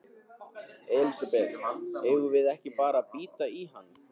Elísabet: Eigum við ekki bara að bíta í hann?